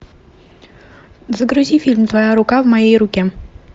загрузи фильм твоя рука в моей руке